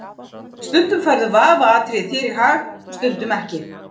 Stundum færðu vafaatriði þér í hag og stundum ekki.